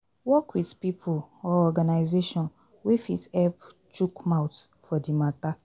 Work with pipo or organisation wey fit help chook mouth for di matter